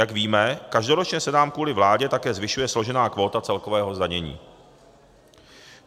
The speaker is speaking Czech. Jak víme, každoročně se nám kvůli vládě také zvyšuje složená kvóta celkového zdanění.